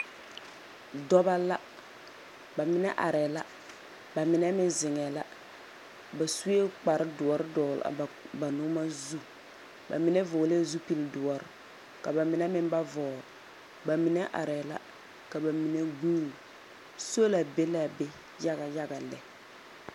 Dɔba la. Ba mine arɛɛ la, ba mine meŋ zeŋɛɛ la. Ba suee kpar doɔre dɔɔle a bag ba noɔma zu. Ba. Mine vɔglɛɛ zupil doɔr, ka ba mine meŋ ba vɔɔl. Ba mine arɛɛ la, ka ba mine goone. Sola be la a be yaga yaga lɛ.